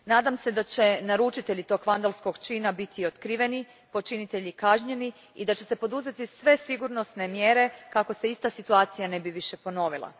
Nadam se da će naručitelji tog vandalskog čina biti otkriveni, počinitelji kažnjeni i da će se poduzeti sve sigurnosne mjere kako se ista situacija ne bi više ponovila.